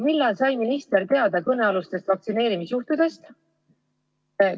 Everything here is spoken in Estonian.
Millal sai minister teada kõnealustest vaktsineerimisjuhtudest?